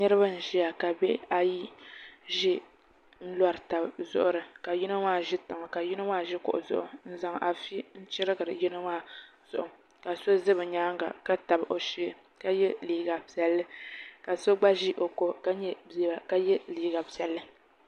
Niraba n ʒiya ka bihi ayi ʒi n lori tabi zuɣuri ka yino maa ʒi tiŋa ka yino maa ʒi kuɣu zuɣu n zaŋ afi n chirigiri yino maa zuɣu ka so ʒɛ bi nyaanga ka tabi o shee ka yɛ liiga piɛlli ka so gba ʒi o ko ka nyɛ bia ka yɛ liigq piɛlli